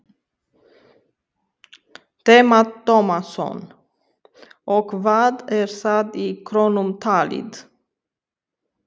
Telma Tómasson: Og hvað er það í krónum talið?